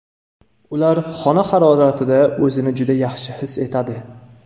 Ular xona haroratida o‘zini juda yaxshi his etadi.